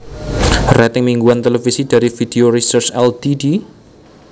Rating mingguan televisi dari Video Research Ltd